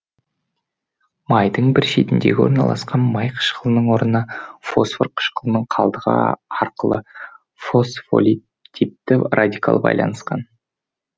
майдың бір шетіндегі орналасқан май қышқылының орнына фосфор қышқылының қалдығы арқылы фосфолиптипті радикал байланысқан